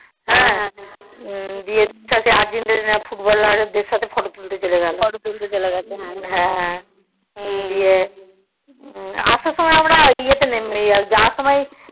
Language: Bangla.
ইয়ের সাথে Argentinafootballer দেড় সাথে photo তুলতে চলে গেল হ্যাঁ হ্যাঁ ইয়ে আসার সময় আমরা ইয়ে তে নেমে যাওয়ার সময়